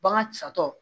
Bagan satɔ